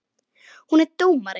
Hún er dómari.